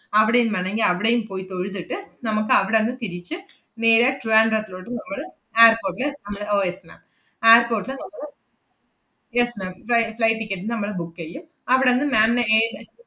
അവിടെയും വേണോങ്കി അവിടെയും പോയി തൊഴുതിട്ട് നമ്മക്കവടന്ന് തിരിച്ച് നേരെ ട്രിവാൻഡ്രത്തിലോട്ട് നമ്മള് airport ല് നമ്മള് ഓ yes ma'am airport ല് നമ്മള് yes ma'am fli~ flight ticket നമ്മള് book എയ്യും. അവടന്ന് ma'am ന് ഏത്